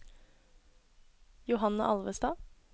Johanne Alvestad